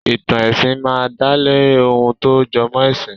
Ì̀tàn ẹ̀sìn máa ń dálé ohun tó jọmọ́ ẹ̀sìn.